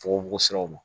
Fogofogosiraw ma